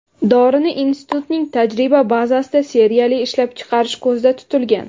Dorini institutning tajriba bazasida seriyali ishlab chiqarish ko‘zda tutilgan.